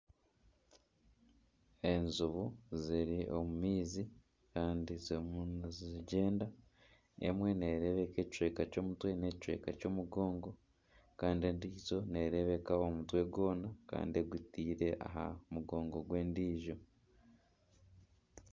Enjubu ziri omu maizi kandi zirimu nizigyenda emwe nereebeka ekicweka ky'omutwe n’ekicweka ky'omugongo kandi endiijo nereebeka omutwe gwoona kandi egutaire aha mugongo gw'endiijo.